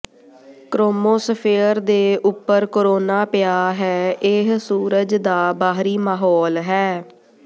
chromosphere ਦੇ ਉੱਪਰ corona ਪਿਆ ਹੈ ਇਹ ਸੂਰਜ ਦਾ ਬਾਹਰੀ ਮਾਹੌਲ ਹੈ